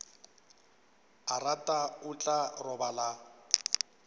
a rata o tla robala